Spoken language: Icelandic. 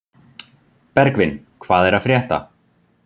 Bergvin, hvað er að frétta?